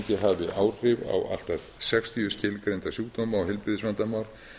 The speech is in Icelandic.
að áfengi hafi áhrif á allt að sextíu skilgreinda sjúkdóma og heilbrigðisvandamál